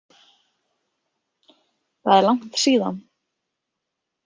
Það er langt síðan.